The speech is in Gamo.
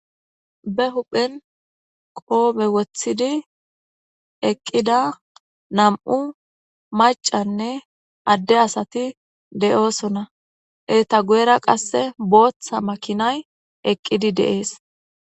Be huphen qobe wotidi eqida nam'u mac'anne ade asati de'osona eta guyera qase botha makinay eqidi de'es.